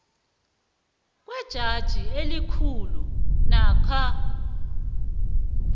kwejaji elikhulu namkha